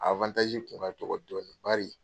A kun ka dɔgɔ dɔɔni bari